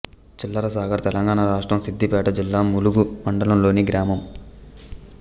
చిల్లసాగర్ తెలంగాణ రాష్ట్రం సిద్ధిపేట జిల్లా ములుగు మండలంలోని గ్రామం